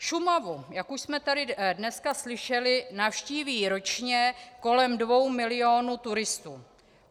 Šumavu, jak už jsme tady dneska slyšeli, navštíví ročně kolem dvou milionů turistů.